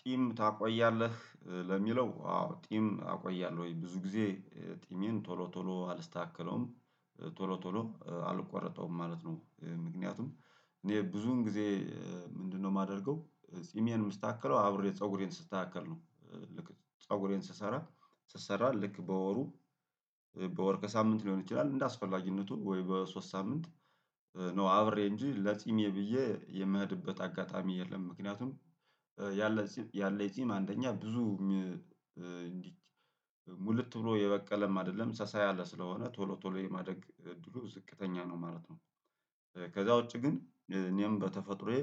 ጢም ታቆያለህ ለሚለው አዎ ጢም አቆያለሁ ወይ? ብዙ ጊዜ ጢሜን ቶሎ ቶሎ አልስተካከለውም ቶሎ ቶሎ አልቆረጠውም ማለት ነው። ምክንያቱም እኔ ብዙን ጊዜ ምንድነው የማደርገው ጺሜን የምስተካከለው አብሬ ፀጉሬን ስስተካከል ነው። ፀጉሬን ስሰራ ስሰራ ልክ በወሩ በወርከ ሳምንት ሊሆን ይችላል እንደ አስፈላጊነቱ ወይ በሶስት ሳምንት ነው። አብሬ እንጂ ለጺሜ ብዬ የምሄድበት አጋጣሚ የለም። ምክንያቱም ያለኝ ጺም አንደኛ ብዙም እንዲህ ሙልት ብሎ የበቀለም አይደለም ሳሳ ያለ ስለሆነ ቶሎ ቶሎ የማደግ እድሉ ዝቅተኛ ነው ማለት ነው። ከዛ ውጪ ግን እኔም በተፈጥሮዬ